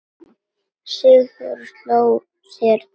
Sigþóra sló sér á lær.